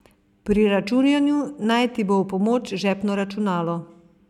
Pri računanju naj ti bo v pomoč žepno računalo.